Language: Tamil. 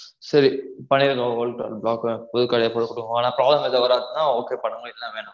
சரி பழைய old card அ block புது card ஏ போட்டு குடுத்துருங்க ஆனா problem எதும் வராதுனா okay பண்ணுங்க இல்லனா வேணாம்